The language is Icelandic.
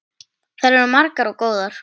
Þær eru margar og góðar.